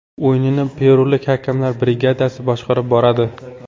O‘yinni perulik hakamlar brigadasi boshqarib boradi .